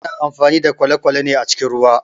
Ana amfani da kwalekwale ne a cikin ruwa